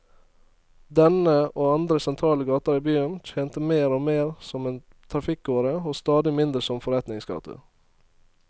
Denne, og andre sentrale gater i byen, tjente mer og mer som en trafikkåre og stadig mindre som forretningsgate.